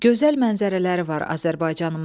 Gözəl mənzərələri var Azərbaycanımızın.